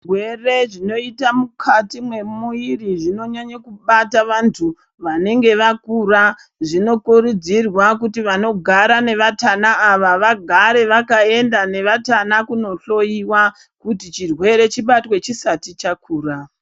Zvirwere zvinoita mukati memumwiri zvinonyanya kubata vantu vanenge vakura zvinokurudzirwa kuti vanogara nevatana ava vagara vakaenda nevatana kundohloiwa kuti xhurwere chibatwe chisati chakura.